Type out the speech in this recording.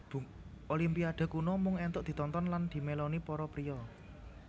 Olimpiade kuno mung entuk ditonton lan dimeloni para priya